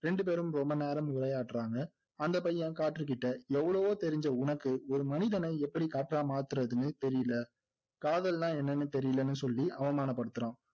ரெண்டுபேரும் ரொம்ப நேரம் விளையாடுறாங்க அந்த பையன் காற்றுகிட்ட எவ்வளவோ தெரிஞ்ச உனக்கு ஒரு மனிதனை எப்படி காற்றா மாத்துறதுன்னு தெரியலை காதல்னா என்னன்னு தெரியலனு சொல்லி அவமானப்படுத்துறான்